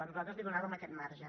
nosaltres li donàvem aquest marge